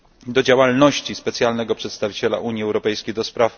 do działalności specjalnego przedstawiciela Unii Europejskiej ds.